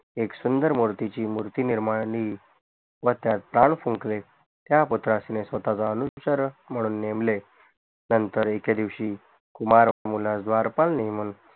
एक सुंदर मूर्तीची मूर्ती निर्माणली व त्यात प्राण फूंकले स्वताचे अनुपचारून म्हणून नेमले नंतर एके दिवशी कुमार मुलास द्वारपाल नेमून